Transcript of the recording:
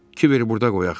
Kiveri burda qoyaq.